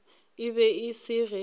e be e se ge